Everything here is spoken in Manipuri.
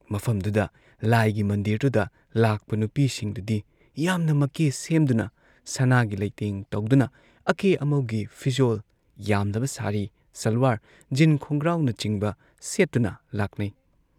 ꯃꯐꯝꯗꯨꯗ ꯂꯥꯏꯒꯤ ꯃꯟꯗꯤꯔꯗꯨꯗ ꯂꯥꯛꯄ ꯅꯨꯄꯤꯁꯤꯡꯗꯨꯗꯤ ꯌꯥꯝꯅ ꯃꯀꯦ ꯁꯦꯝꯗꯨꯅ ꯁꯅꯥꯒꯤ ꯂꯩꯇꯦꯡ ꯇꯧꯗꯨꯅ ꯑꯀꯦ ꯑꯃꯧꯒꯤ ꯐꯤꯖꯣꯜ ꯌꯥꯝꯂꯕ ꯁꯥꯔꯤ, ꯁꯥꯜꯋꯥꯔ, ꯖꯤꯟ ꯈꯣꯡꯒ꯭ꯔꯥꯎꯅꯆꯤꯡꯕ ꯁꯦꯠꯇꯨꯅ ꯂꯥꯛꯅꯩ ꯫